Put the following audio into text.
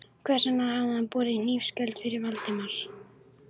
Hvers vegna hafði hann borið hlífiskjöld fyrir Valdimar?